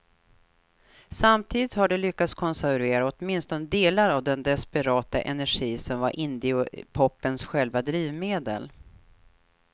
Samtidigt har de lyckats konservera åtminstone delar av den desperata energi som var indiepopens själva drivmedel.